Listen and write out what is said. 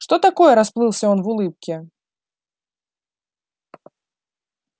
что такое расплылся он в улыбке